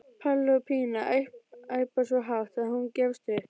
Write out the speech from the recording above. Palli og Pína æpa svo hátt að hún gefst upp.